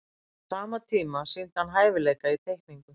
á sama tíma sýndi hann hæfileika í teikningu